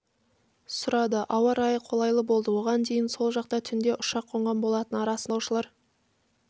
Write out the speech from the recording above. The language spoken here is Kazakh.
сұрады ауа райы қолайлы болды оған дейін сол жақта түнде ұшақ қонған болатын арасында жолаушылар